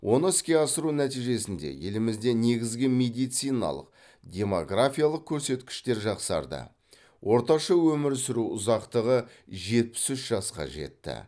оны іске асыру нәтижесінде елімізде негізгі медициналық демографиялық көрсеткіштер жақсарды орташа өмір сүру ұзақтығы жетпіс үш жасқа жетті